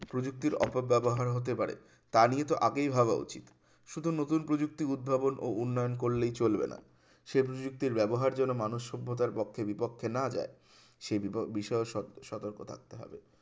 প্রযুক্তির অপব্যবহার হতে পারে তা নিয়ে তো আগেই ভাবা উচিত শুধু নতুন প্রযুক্তির উদ্ভাবন ও উন্নয়ন করলেই চলবে না সেগুলি উক্তির ব্যবহার যেন মানুষ সভ্যতার পক্ষে বিপক্ষে না যায় সে বিভ~বিষয়ে সো~সতর্ক থাকতে হবে